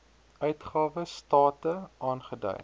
uitgawe state aangedui